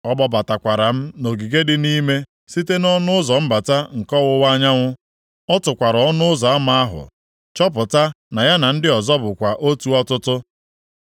Ọ kpọbatakwara m nʼogige dị nʼime site nʼọnụ ụzọ mbata nke ọwụwa anyanwụ. Ọ tụkwara ọnụ ụzọ ama ahụ, chọpụta na ya na ndị ọzọ bụkwa otu ọtụtụ.